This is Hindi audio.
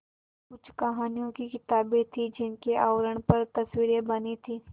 कुछ कहानियों की किताबें थीं जिनके आवरण पर तस्वीरें बनी थीं